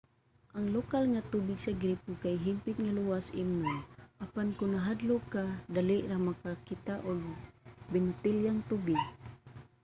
ang lokal nga tubig sa gripo kay hingpit nga luwas imnon apan kon nahadlok ka dali ra makakita og binotelyang tubig